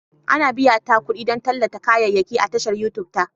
Ana biyana kuɗi don tallata kayayyaki a tashar Youtube ta